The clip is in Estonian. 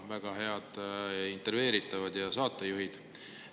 Väga head intervjueeritavad ja saatejuhid.